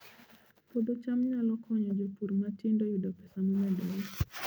Puodho cham nyalo konyo jopur matindo yudo pesa momedore